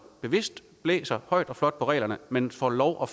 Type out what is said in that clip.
bevidst blæser højt og flot på reglerne men får lov